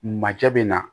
Majɛ bɛ na